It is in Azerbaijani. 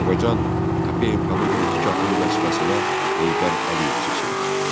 Azərbaycan KPMK-nın birinci katibi vəzifəsinə Heydər Əliyev seçildi.